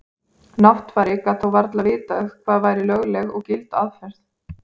Náttfari gat þó varla vitað hvað væri lögleg eða gild aðferð.